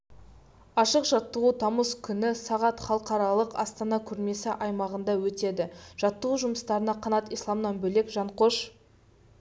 ашық жаттығу тамыз күні сағат халықаралық астана көрмесі аймағында өтеді жаттығу жұмыстарына қанат исламнан бөлек жанқош